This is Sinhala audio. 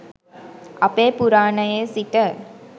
අපේ පුරාණයේ සිට